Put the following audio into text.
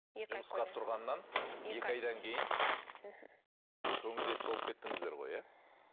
жұмысқа тұрғаннан екі айдан кейін мхм көңілдес болып кеттіңіздер ғой иә